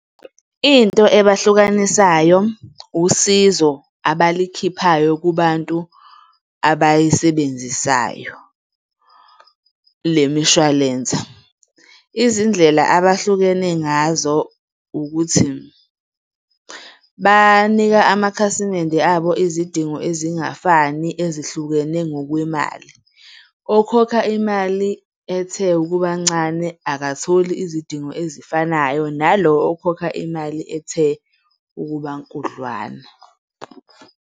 Into ebahlukanisayo, usizo abalikhiphayo kubantu abayisebenzisayo le mishwalense. Izindlela abahlukene ngazo ukuthi, banika amakhasimende abo izidingo ezingafani ezihlukene ngokwemali. Okhokha imali ethe ukuba ncane akatholi izidingo ezifanayo nalo okhokha imali ethe ukuba nkudlwana.